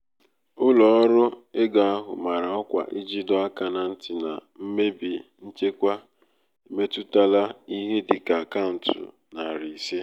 ụlọ um ọrụ ego ahụ mara ọkwa iji doo aka na nti na mmebi nchekwa emetụtala ihe dị ka akaụntụ nari ise.